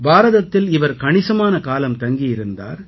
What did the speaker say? பாரதத்தில் இவர் கணிசமான காலம் தங்கியிருந்தார்